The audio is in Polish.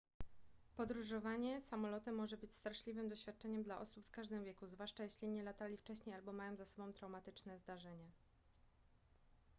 podróżowanie samolotem może być straszliwym doświadczeniem dla osób w każdym wieku zwłaszcza jeśli nie latali wcześniej albo mają za sobą traumatyczne zdarzenie